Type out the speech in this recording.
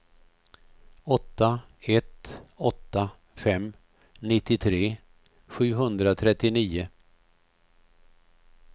åtta ett åtta fem nittiotre sjuhundratrettionio